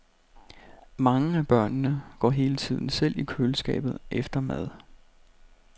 Mange af børnene går hele tiden selv i køleskabet efter mad.